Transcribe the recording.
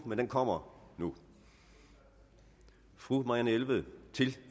men den kommer nu fru marianne jelved til